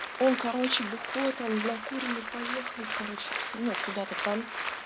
он короче бухой там накуренный поехал короче ну куда-то там